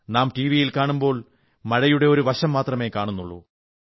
നാം ടിവി കാണുമ്പോൾ മഴയുടെ ഒരു വശം മാത്രമേ കാണൂ